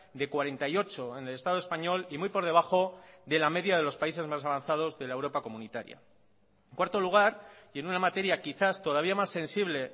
de cuarenta y ocho en el estado español y muy por debajo de la media de los países más avanzados de la europa comunitaria cuarto lugar y en una materia quizás todavía más sensible